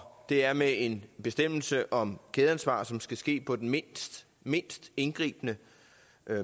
det er med en bestemmelse om kædeansvar som skal ske på den mindst mindst indgribende